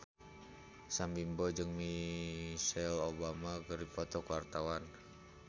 Sam Bimbo jeung Michelle Obama keur dipoto ku wartawan